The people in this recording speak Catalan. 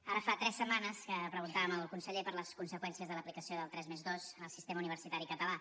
ara fa tres setmanes que preguntàvem al conseller per les conseqüències de l’aplicació del tres+dos en el sistema universitari català